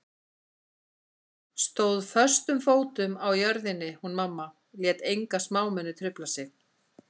Stóð föstum fótum á jörðinni hún mamma, lét enga smámuni trufla sig.